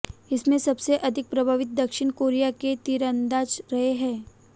इसमें सबसे अधिक प्रभावी दक्षिण कोरिया के तीरंदाज रहे हैं